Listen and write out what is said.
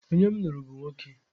Onye m lụrụ bụ nwoke.